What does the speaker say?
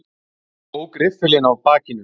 Ég tók riffilinn af bakinu.